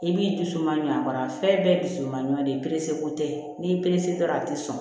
I b'i dusu mangoya a fɛn bɛɛ dusu man ɲuma de ko tɛ n'i y'i perese dɔrɔn a tɛ sɔn